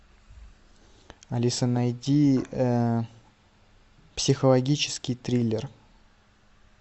алиса найди психологический триллер